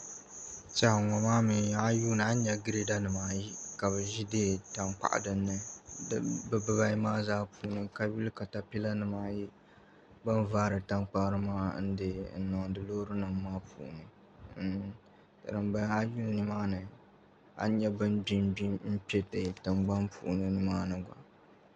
N tiɛhi ŋo maa mii a yuli a ni nyɛ Girɛda nimaayi ka bi ʒi tankpaɣu dinni bi dibayi maa zaa puuni ka yuli katapila nimaayi bin vaari tankpari maa n niŋdi loori nim maa puuni a yuli nimaani a ni nyɛ bin gbi n gbi kpɛ tingbani tiŋ nimaani